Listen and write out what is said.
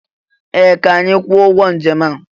Ee! Ka anyị kwụọ ụgwọ njem a.